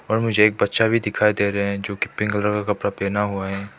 और मुझे एक बच्चा भी दिखाई दे रहे है जो की पिंक कलर का कपड़ा पहना हुआ है।